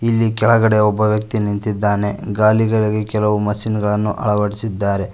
ಇಲ್ಲಿ ಕೆಳಗಡೆ ಒಬ್ಬ ವ್ಯಕ್ತಿ ನಿಂತಿದ್ದಾನೆ ಗಾಡಿಗಳಿಗೆ ಕೆಲವು ಮಷೀನ್ ಗಳನ್ನು ಅಳವಡಿಸಿದ್ದಾರೆ.